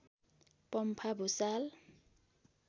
Pampha Bhusal